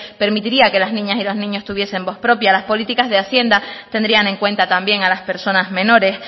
permitirían que las niñas y los niños tuviesen voz propia las políticas de hacienda tendrían en cuenta también a las personas menores